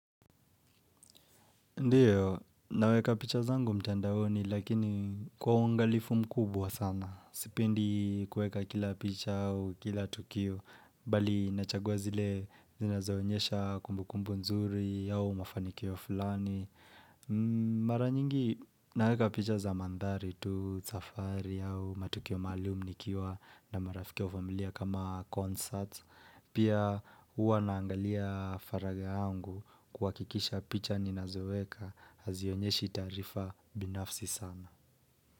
Ndiyo, naweka picha zangu mtandaoni, lakini kwa ungalifu mkubwa sana. Sipendi kueka kila picha au, kila tukio, bali nachagua zile zinazoenyesha kumbu kumbu nzuri, au mafanikio fulani. Maranyingi, naweka picha za mandhari tu, safari au, matukio maalum nikiwa, na marafiki au familia kama concert. Pia uwa naangalia faraga yangu kwa kikisha picha nina zoeka hazionyeshi tarifa binafsi sana.